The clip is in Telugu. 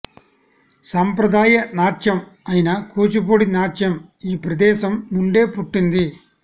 సాంప్రదాయ నాట్యం అయిన కూచిపూడి నాట్యం ఈ ప్రదేశం నుండే పుట్టింది